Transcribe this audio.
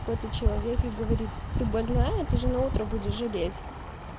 какой-то человек и говорит ты больная ты же наутро будешь жалеть